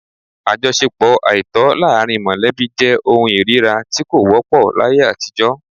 Àjọṣepọ àìtọ́ láàrín mọ̀lẹ́bí jẹ́ ohun ìríra tí kò wọ́pọ̀ láyé àtijọ́